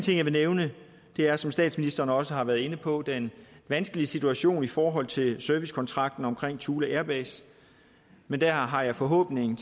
jeg vil nævne er som statsministeren også har været inde på den vanskelige situation i forhold til servicekontrakten omkring thule air base men der har jeg forhåbning